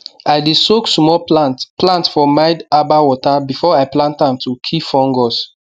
i dey soak small plant plant for mild herbal water before i plant am to kill fungus